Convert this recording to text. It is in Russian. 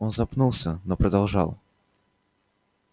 он запнулся но продолжал